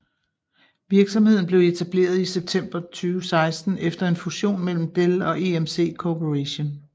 Virksomheden blev etableret i september 2016 efter en fusion mellem Dell og EMC Corporation